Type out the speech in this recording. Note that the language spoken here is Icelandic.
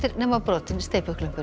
nema brotinn